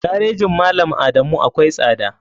Garejin malam adamu akwai tsada.